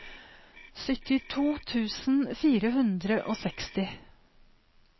syttito tusen fire hundre og seksti